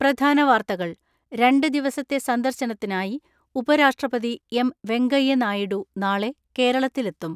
പ്രധാന വാർത്തകൾ രണ്ട് ദിവസത്തെ സന്ദർശനത്തിനായി ഉപരാഷ്ട്രപതി എം.വെങ്കയ്യ നായിഡു നാളെ കേരളത്തിലെത്തും.